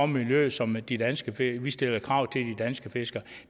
miljøet som de danske fiskere danske fiskere